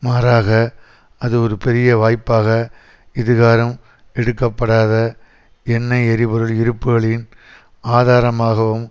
மாறாக அது ஒரு பெரிய வாய்ப்பாக இதுகாறும் எடுக்கப்படாத எண்ணெய் எரிபொருள் இருப்புக்களின் ஆதாரமாகவும்